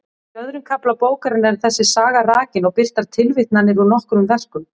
Í öðrum kafla bókarinnar er þessi saga rakin og birtar tilvitnanir úr nokkrum verkum.